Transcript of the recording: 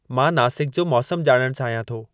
मां नासिक जो मौसमु ॼाणणु चाहियां थो